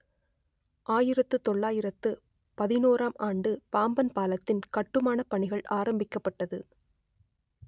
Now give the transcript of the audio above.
ஆயிரத்து தொள்ளாயிரத்து பதினோராம் ஆண்டு பாம்பன் பாலத்தின் கட்டுமான பணிகள் ஆரம்பிக்கப்பட்டது